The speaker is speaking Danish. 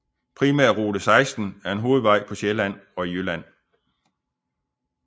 Primærrute 16 er en hovedvej på Sjælland og i Jylland